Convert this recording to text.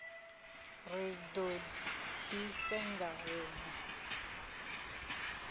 ri do di senga hunwe